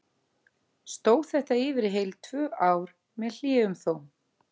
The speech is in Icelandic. Stóð þetta yfir í heil tvö ár, með hléum þó.